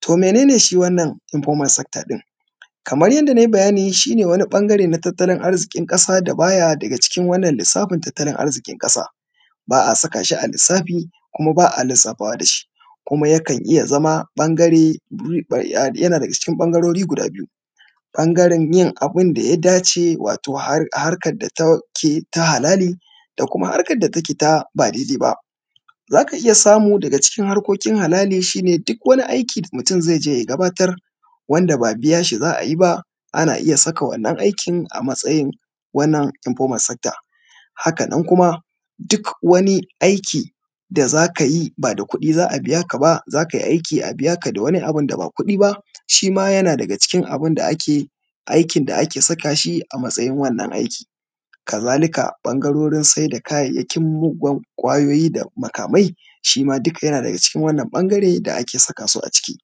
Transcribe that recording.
To mene ne shi wannan Informal Sector ɗin? kamar yadda na yi bayani, shi ne wani ɓangare na tattalin arzikin ƙasa da ba ya daga cikin wannan lissafin tattalin arziƙin ƙasa. Ba a saka shi a lissafi kuma ba a lissafawa da shi, kuma ya kan iya zama ɓangare, yana da.ga cikin ɓangarori guda biyu. Ɓangaren yin abin da ya dace wato harkar da ta ke ta halali, da kuma harkar da take ta ba daidai ba. Za ka iya samu daga cikin harkokin halali, shi ne duk wani aiki da mutum zai je ya gabatar, wanda ba biyan shi za a yi ba, ana iya saka wannan aikin a matsayin wannan Informal Sector. Haka nan kuma duk wani aiki, da za ka yi ba da kuɗi za a biya ka ba, za ka yi aiki a biya ka da wani abun da ba kuɗi ba, shi ma yana daga cikin abin da ake, aikin da ake saka shi a matsayin wannan aiki. Kazalika, ɓangarorin sayar da kayayyakin muggan ƙwayoyi da makamai, shi ma duka yana daga cikin wannan ɓangare da ake saka su a ciki.